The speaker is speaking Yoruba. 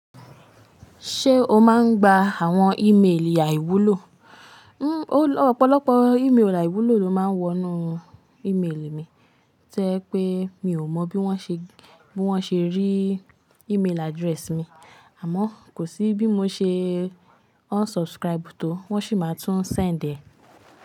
Ṣé o máa ń gba àwọn email àìwúlò? N ó ọ̀pọ̀lọpọ̀ email àìwúlò ló máa ń wọ inú email mi, ti o jẹ pé mi ò mọ bí wọ́n ṣe, bí wọ́n ṣe rí email address mi. Àmọ́ kò sí bí mo ṣe unsubscribe tó, wọ́n sì máa tún send ẹ́.